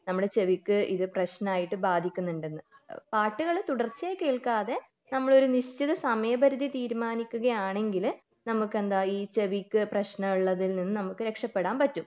നമ്മുടെ ചെവിക്ക് ഇത് പ്രശ്നമായിട്ട് ബാധിക്കുന്നുണ്ടെന്ന് പാട്ടുകൾ തുടർച്ചയായി കേൾക്കാതെ നമ്മളൊരു നിശ്ചിത സമയ പരിധി തീരുമാനിക്കുകയാണെങ്കിൽ നമുക്കെന്താ ഈ ചെവിക്ക് പ്രശ്നമുള്ളതിൽ നിന്ന് നമുക്ക് രക്ഷപെടാൻ പറ്റും